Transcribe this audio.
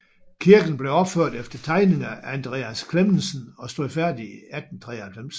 Kirken blev opført efter tegninger af Andreas Clemmesen og stod færdig i 1893